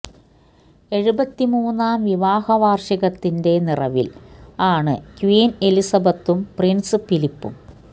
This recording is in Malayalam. എഴുപത്തിമൂന്നാം വിവാഹ വാഷികത്തിന്റെ നിറവില് ആണ് ക്വീന് എലിസബത്തും പ്രിന്സ് ഫിലിപ്പും